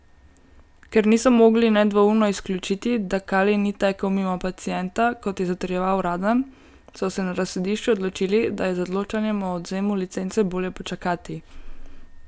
Ker niso mogli nedvoumno izključiti, da kalij ni tekel mimo pacienta, kot je zatrjeval Radan, so se na razsodišču odločili, da je z odločanjem o odvzemu licence bolje počakati.